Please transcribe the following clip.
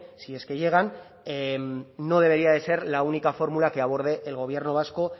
si es que llegan no debería de ser la única fórmula que aborde el gobierno vasco